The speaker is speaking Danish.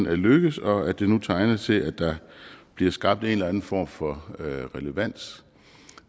er lykkedes og at det nu tegner til at der bliver skabt en eller anden form for relevans